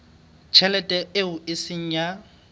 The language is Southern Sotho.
tjhelete eo e seng ya